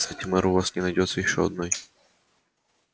кстати мэр у вас не найдётся ещё одной